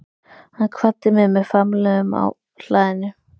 Hann kvaddi mig með faðmlögum á hlaðinu.